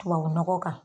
Tubabu nɔgɔ kan